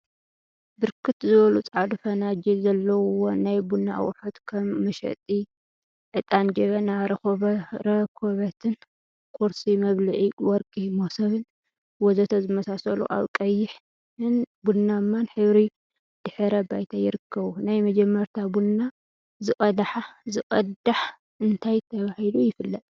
ብርክት ዝበሉ ፀዓዱ ፈናጅል ዘለውዎ ናይ ቡና አቁሑት ከም መጠሺ ዕጣን፣ ጀበና፣ ረኮቦትን ቁርሲ መብልዒ ወርቂ መሶብን ወዘተ ዝመሳሰሉ አበ ቀይሕ ን ቡናማን ሕብሪ ድሕረ ባይታ ይርከቡ፡፡ ናይ መጀመርታ ቡና ዝቅዳሕ እንታይ ተባሂሉ ይፍለጥ?